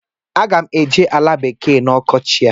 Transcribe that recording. Aga m eje ala bekee na ọkọchị a.